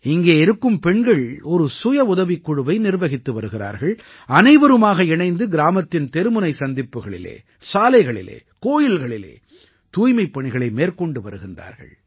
இங்கே இருக்கும் பெண்கள் ஒரு சுயவுதவிக் குழுவை நிர்வகித்து வருகிறார்கள் அனைவரும் இணைந்து கிராமத்தின் தெருமுனை சந்திப்புகளில் சாலைகளில் கோயில்களில் தூய்மைப் பணிகளை மேற்கொண்டு வருகிறார்கள்